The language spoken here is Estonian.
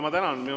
Ma tänan!